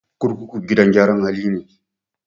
Kurkuku gidan gyara hali ne.